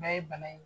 N'a ye bana in